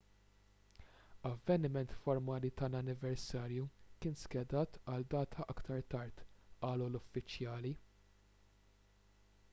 avveniment formali tal-anniversarju kien skedat għal data aktar tard qalu l-uffiċjali